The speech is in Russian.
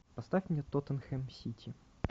поставь мне тоттенхэм сити